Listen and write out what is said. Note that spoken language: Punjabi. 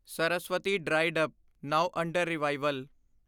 Saraswati dried up, now under revival